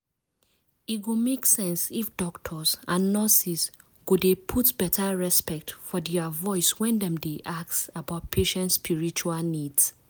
e go make sense if doctors and nurses go dey put beta respect for dia voice when dem dey ask about patient spiritual needs.